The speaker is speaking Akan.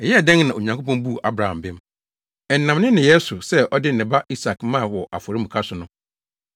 Ɛyɛɛ dɛn na Onyankopɔn buu Abraham bem? Ɛnam ne nneyɛe so sɛ ɔde ne ba Isak maa wɔ afɔremuka so no.